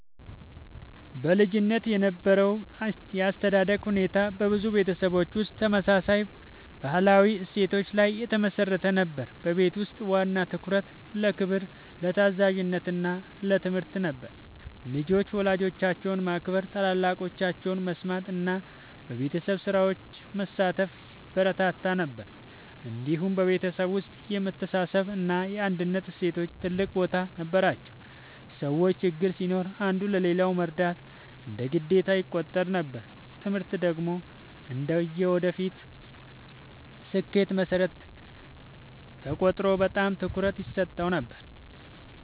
በልጅነት የነበረው የአስተዳደግ ሁኔታ በብዙ ቤተሰቦች ውስጥ ተመሳሳይ ባህላዊ እሴቶች ላይ የተመሠረተ ነበር። በቤት ውስጥ ዋና ትኩረት ለክብር፣ ለታዛዥነት እና ለትምህርት ነበር። ልጆች ወላጆቻቸውን ማክበር፣ ታላላቆቻቸውን መስማት እና በቤተሰብ ስራዎች መሳተፍ ይበረታታ ነበር። እንዲሁም በቤተሰብ ውስጥ የመተሳሰብ እና የአንድነት እሴቶች ትልቅ ቦታ ነበራቸው። ሰዎች ችግር ሲኖር አንዱ ለሌላው መርዳት እንደ ግዴታ ይቆጠር ነበር። ትምህርት ደግሞ እንደ የወደፊት ስኬት መሠረት ተቆጥሮ በጣም ትኩረት ይሰጠው ነበር።